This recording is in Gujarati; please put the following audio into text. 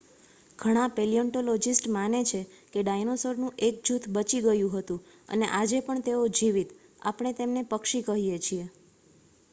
ઘણા પેલિયોન્ટોલોજિસ્ટમાને છે કે ડાયનાસોરનું એક જૂથ બચી ગયું હતું અને આજે પણ તેઓ જીવિત આપણે તેમને પક્ષી કહીએ છીએ